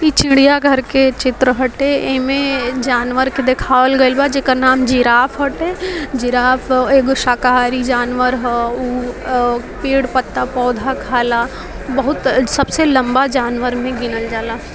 इ चिड़िया घर के चित्र होते एमे जानवर के देखायल गेल वा एमे जिराफ होते जिराफ एगो शाकाहारी जानवर हो उ पेड़-पत्ता पौधा खाला बहुत सबसे लंबा जानवर मे गिनल जायला ।